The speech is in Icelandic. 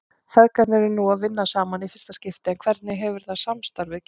Feðgarnir eru nú að vinna saman í fyrsta skipti en hvernig hefur það samstarf gengið?